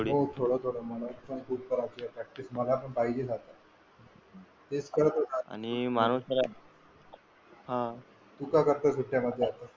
हो थोडं जमत आता मला. आपण खूप कराव लागेल प्रॅक्टिस मला पण पाहिजे आता तेच करत होतो आता माणूस हा तू काय करतोय सुट्ट्या मध्ये?